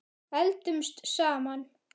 Eldumst saman.